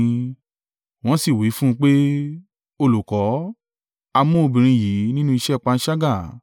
Wọ́n sì wí fún un pé, “Olùkọ́, a mú obìnrin yìí nínú ìṣe panṣágà.